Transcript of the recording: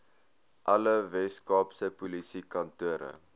alle weskaapse polisiekantore